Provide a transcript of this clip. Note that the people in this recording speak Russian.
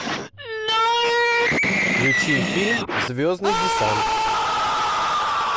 включи фильм звездный десант